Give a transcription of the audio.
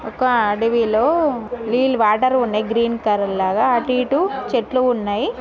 ఒక అడవి లో నీల్ వాటర్ ఉన్నాయి గ్రీన్ కలర్ లాగా అటు ఇటు చెట్లు ఉన్నాయి.